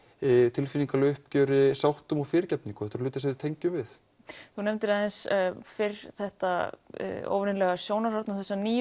tilfinningaleg uppgjöri sáttum og fyrirgefningu þetta eru hlutir sem við tengjum við þú nefndir aðeins fyrr þetta óvenjulega sjónarhorn og þessa nýju